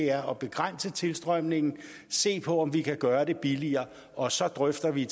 er at begrænse tilstrømningen og se på om vi kan gøre det billigere og så drøfter vi